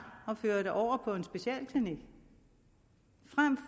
at føre det over på en specialklinik frem